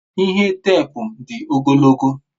ihe teepu di ogologo